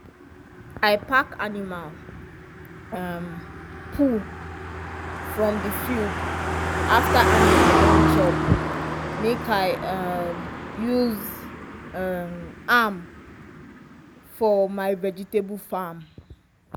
i pack animal um poo from the field after animal don chop make i um use um am for my vegetable farm